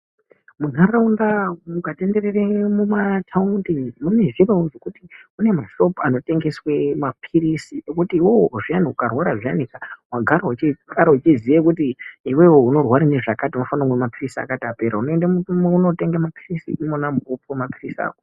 Munharaunda mukatendereremo mumathaundi, mune zviro zvekuti mune mashopu anotengeswe maphirizi, ekuti iwewe zviyani ukarwara zviyani wagara uchiziya kuti unorwara ngezvakati, unofana kumwa maphirizi akati apera, unoenda mu wotenga maphirizi ako.